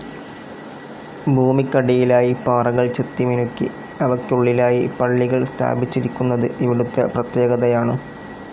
ഭൂമിക്കടിയിലായി പാറകൾ ചെത്തിമിനുക്കി അവയ്ക്കുള്ളിലായി പള്ളികൾ സ്ഥാപിച്ചിരിക്കുന്നത് ഇവിടുത്തെ പ്രത്യേകതകയാണ്.